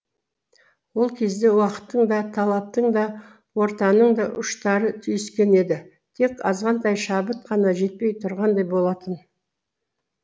ол кезде уақыттың да таланттың да ортаның да ұштары түйіскен еді тек азғантай шабыт қана жетпей тұрғандай болатын